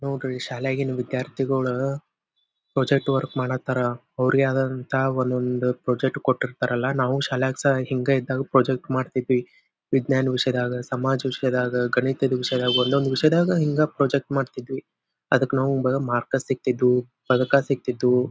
ನೋಡ್ರಿ ಶಾಲೆಗಿನ್ ವಿದ್ಯಾರ್ಥಿಗೋಳ ಪ್ರಾಜೆಕ್ಟ್ ವರ್ಕ್ ಮಾಡತಾರ ಅವ್ರಿಗೆ ಆದಂಥ ಒಂದೊಂದು ಪ್ರಾಜೆಕ್ಟ್ ಕೊಟ್ಟಿರ್ತಾರಲ್ಲ. ನಾವು ಶಾಲ್ಯಾಗ ಸಹ ಹಿಂಗೇ ಇದ್ದಾಗ ಪ್ರಾಜೆಕ್ಟ್ ಮಾಡ್ತಿದ್ವಿ. ವಿಜ್ನ್ಯಾನ ವಿಷಯದಾಗ ಸಮಾಜ ವಿಷ್ಯದಾಗ ಗಣಿತದ್ ವಿಷಯದಾಗ ಒಂದೊಂದ್ ಒಂದೊಂದ್ ವಿಷಯದಲ್ಲಿ ಹಿಂಗ ಪ್ರಾಜೆಕ್ಟ್ ಮಾಡ್ತಿದ್ವಿ. ಅದಕ್ಕ ನಮ್ಗ ಮಾರ್ಕ ಸಿಗತಿದ್ವು ಪದಕ ಸಿಗತಿದ್ವು .